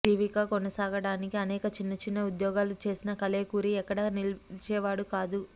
జీవిక కొనసాగటానికి అనేక చిన్న చిన్న ఉద్యోగాలు చేసిన కలేకూరి ఎక్కడా నిలిచేవాడు కాదు